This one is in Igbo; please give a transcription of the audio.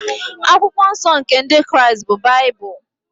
Akwụkwọ nsọ nke Ndị Kraịst bụ Baịbụl.